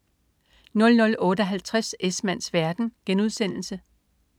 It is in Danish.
00.58 Esmanns verden*